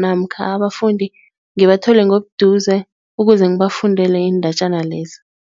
namkha abafundi ngibathole ngobuduze ukuze ngibafundele iindatjana lezi.